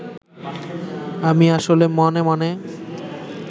আমি আসলে মনে মনে